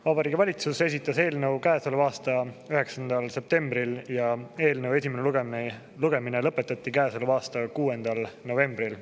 Vabariigi Valitsus esitas eelnõu käesoleva aasta 9. septembril ja eelnõu esimene lugemine lõpetati 6. novembril.